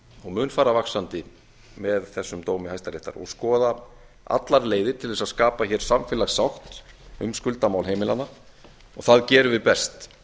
og mun fara vaxandi með þessum dómi hæstaréttar og skoða allar leiðir til að skapa samfélagssátt um skuldamál heimilanna og það gerum við best